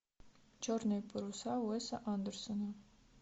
черные паруса уэса андерсона